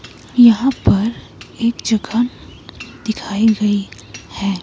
यहाँ पर एक जगह दिखाई गई है।